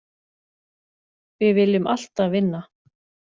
Við viljum alltaf vinna.